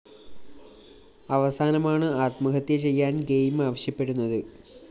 അവസാനമാണ് ആത്മഹത്യ ചെയ്യാന്‍ ഗെയിം ആവശ്യപ്പെടുന്നത്